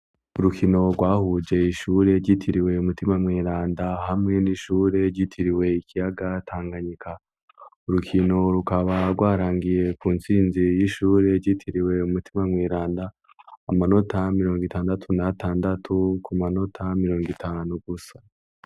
Urukino rwahuje ishure gitiriwe umutima mweranda hamwe n'ishure gitiriwe ikiyaga tanganyika urukino rukaba rwarangiye ku ntsinzira y'ishure gitiriwe u mutima mweranda amanota miliyongo itandatu na tandatu ku manota miliyongo itanu gusa.